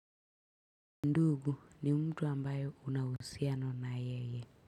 Ndugu ni mtu ambaye una uhusiano na yeye.